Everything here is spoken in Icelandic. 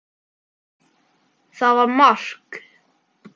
Það var mark.